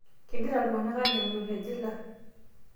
kegira iltunganak aaanyamalu te jila